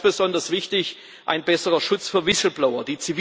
Und ganz besonders wichtig ein besserer Schutz für Whistleblower.